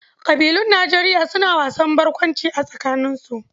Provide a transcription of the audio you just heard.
Ƙabilun Nijeriya suna wasan barkwanci a tsakaninsu.